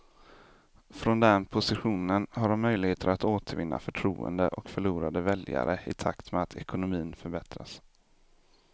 Från den positionen har de möjligheter att återvinna förtroende och förlorade väljare i takt med att ekonomin förbättras.